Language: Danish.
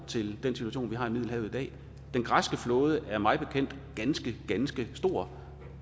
situation vi har i middelhavet i dag den græske flåde er mig bekendt ganske ganske stor